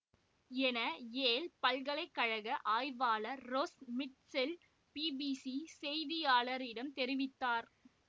என யேல் பல்கலை கழக ஆய்வாளர் ரொஸ் மிட்ச்செல் பிபிசி செய்தியாளரிடம் தெரிவித்தார்